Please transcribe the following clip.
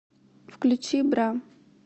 включи бра